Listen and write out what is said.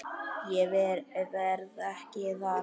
Ég verð ekki þar.